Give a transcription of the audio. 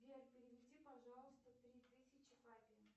сбер переведи пожалуйста три тысячи папе